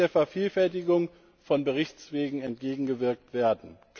So muss der Vervielfältigung von Berichtswegen entgegengewirkt werden.